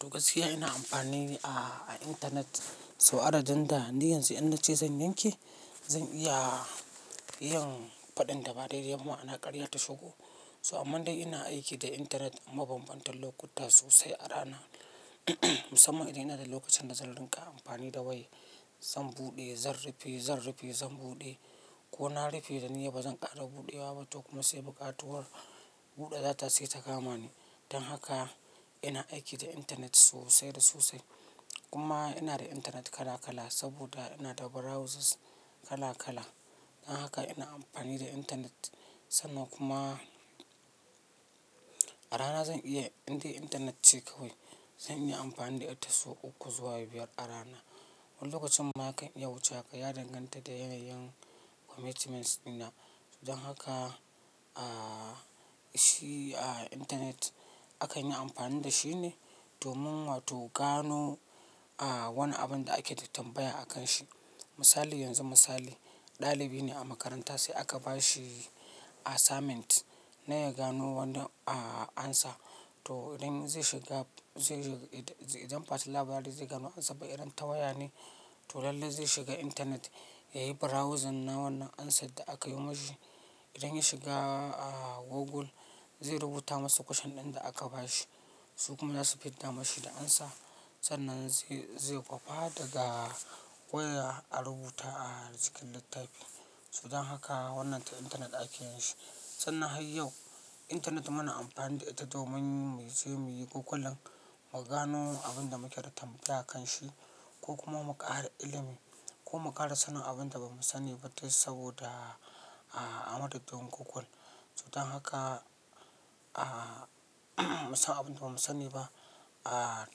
Duk gaskiya ina amfani a intanet. So adadin da ni yanzu in nace zan yanke, zan iya yin faɗin da ba daidai ma'ana ƙarya ta shigo. So amma dai ina aiki da intanet mabambantan lokuta sosai a rana. Musamman idan ina da lokacin da zan ringa amfani da wayar zan buɗe, zan rufe, zan rufe, zan buɗe ko na rufe da niyya bazan ƙara buɗewa ba toh kuma sai buƙatuwar buɗe data sai ta kama ni. Dan haka ina aiki da intanet sosai da sosai. Kuma ina da intanet kala kala saboda ina da browsers kala kala. Don haka ina amfani da internet sannan kuma a rana zan iya indai internet ce kawai zai iya amfani da ita sau uku zuwa biyar a rana. Wani lokacin ma kan wuce haka ya danganta da yanayin commitments dina. Dan haka a shi a intanet akan yi amfani da shi ne domin wato gano a wani abun da ake da tambaya a kan shi. Misali yanzu misali ɗalibi ne a makaranta sai aka bashi assignment na ya gano wanda a answer. To idan zai shiga zai za idan bati labari zai gama amsar irin ta waya ne, to lallai ne zai shiga internet yayi browsing na wannan amsar da yo mashi. Idan ya shiga a Google zai rubuta masa question ɗin da aka bashi su kuma za su fidda masa da answer. Sannan ze ze kwafa daga waya a rubuta cikin littafi. So dan haka wannan ta intanet ake yin shi. Sannan har yau intanet muna amfani da ita domin mu je mu yi Googling, mu gano abin da muke da tambaya kan shi ko kuma mu ƙara ilimi ko mu ƙara sanin abin da ba mu sani ba duk saboda a madadin Google. So dan haka a mu san abinda ba mu sani ba a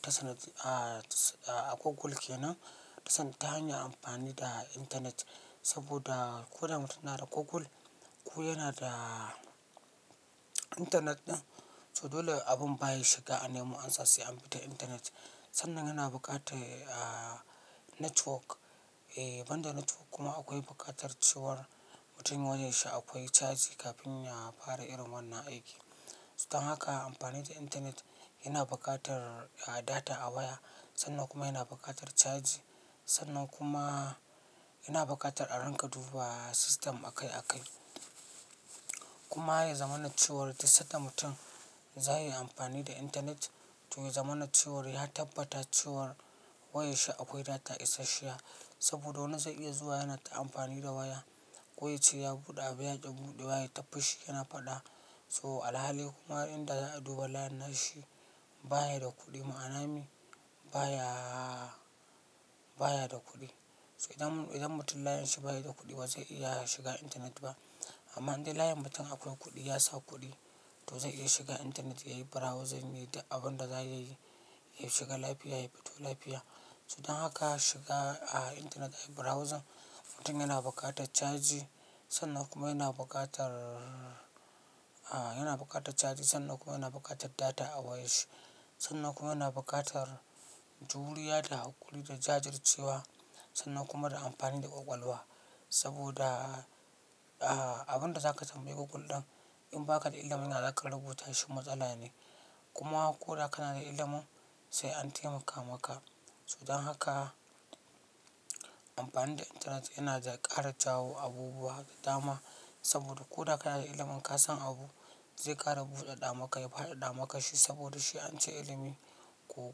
ta a Google kenan ta sanda ta hanyar amfani da intanet. Saboda ko da mutum nada da Google ko yana da intanet ɗin. So dole abin baya shiga a nemi answer sai an bi ta intanet. Sannan yana buƙatar a network, eh banda network kuma akwai buƙatar cewar mutum wayar shi akwai cajj kafin ya fara irin wannan aiki. So dan haka amfani da intanet yana buƙatar data a waya sannan kuma yana buƙatar caji sannan kuma yana buƙatar a ringa duba system a kai a kai. Kuma ya zamana cewar da sadda mutum za yi amfani da intanet to ya zama na cewar ya tabbata cewar wayar shi akwai data isashiya. Saboda wani zai iya zuwa yana ta amfani da waya ko yace ya bude abu yaki budewa yai ta fushi yana fada. To alhali kuma in da za'a duba layin nashi baya da kudi ma'ana me baya, baya da kudi. So idan idan mutum layin shi baya da kuɗi bazai iya shiga intanet ba. Amma idan layin mutum akwai kuɗi ya sa kuɗi to zai iya shiga intanet ya yi browsing ya yi abin da za ya yi. Ya shiga lafiya ya fito lafiya So dan haka shiga a intanet a yi browsing mutum yana buƙatar caji sannan kuma yana buƙatar a yana buƙatar caji sannan kuma yana buƙatar data a wayar shi. Sannan kuma yana buƙatar juriya da haƙuri da jajircewa sannan kuma da amfani da ƙwaƙwalwa. Saboda a abin da zaka tambayi Google ɗin in baka da ilimin ya zaka rubuta shi matsala ne. Kuma ko da kana da ilimin sai an taimaka maka. So dan haka amfani da intanet yana da ƙara jawo abubuwa dama. Saboda ko da kana da ilimin ka san abu zai ƙara buɗe ɗa maka ya fara ɗa maka shi saboda shi an ce ilimi ko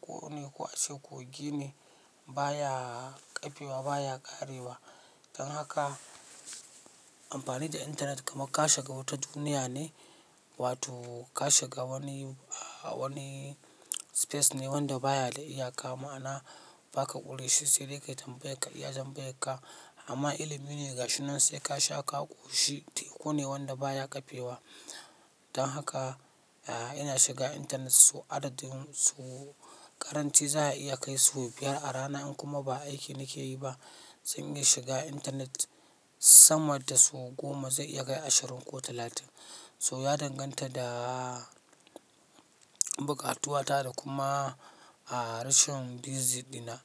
kogo ne ko ace kogi ne baya ƙafewa baya ƙare wa. Dan haka amfani da intanet kamar ka shiga wata duniya ne wato ka shiga wani wani space ne wanda baya da iyaka ma'ana ba ka ƙure shi sai dai ka tambayar ka iya jan tambayarka. Amma ilimi gashi nan sai ka sha ka koshi, teku ne wanda baya kafewa. Don haka a ina shiga Internet sau adadin so karanci za a iya kai sau biyar a rana, in kuma ba aiki nike yi ba. Zan iya shiga intanet sama da sau goma zai iya kai ashirin ko talatin. So ya danganta da buƙatuwa ta da kuma a rashin busy dina.